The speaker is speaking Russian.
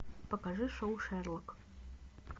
покажи шоу шерлок